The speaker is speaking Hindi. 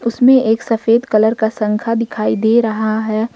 इसमें एक सफेद कलर का शंखा दिखाई दे रहा है।